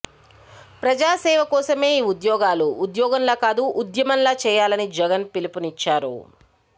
ప్రజాసేవ కోసమే ఈ ఉద్యోగాలు ఉద్యోగంలా కాదు ఉద్యమంలా చేయాలని జగన్ పిలుపునిచ్చారు